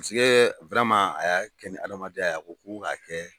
Paseke a y'a kɛ ni hadamadenya ko' k'a kɛ.